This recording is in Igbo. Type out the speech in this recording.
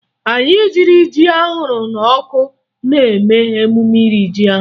Anyị riri ji ahụrụ n'ọkụ n'emume iri ji ahụ